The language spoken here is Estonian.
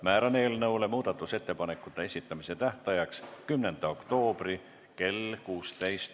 Määran eelnõu muudatusettepanekute esitamise tähtajaks 10. oktoobri kell 16.